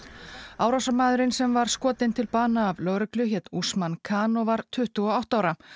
árásarmaðurinn sem var skotinn til bana af af lögreglu hét Usman Khan og var tuttugu og átta ára